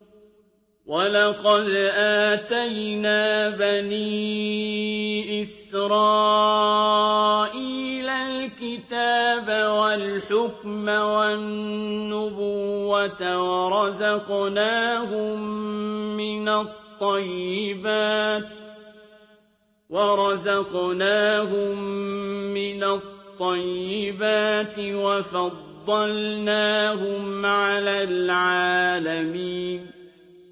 وَلَقَدْ آتَيْنَا بَنِي إِسْرَائِيلَ الْكِتَابَ وَالْحُكْمَ وَالنُّبُوَّةَ وَرَزَقْنَاهُم مِّنَ الطَّيِّبَاتِ وَفَضَّلْنَاهُمْ عَلَى الْعَالَمِينَ